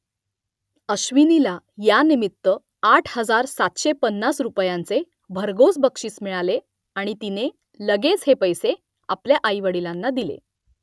अश्विनीला यानिमित्त आठ हजार सातशे पन्नास रुपयांचे भरघोस बक्षीस मिळाले आणि तिने लगेच हे पैसे आपल्या आईवडिलांना दिले